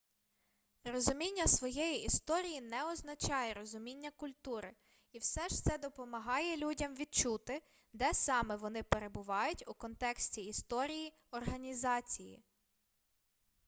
розуміння своєї історії не означає розуміння культури і все ж це допомагає людям відчути де саме вони перебувають у контексті історії організації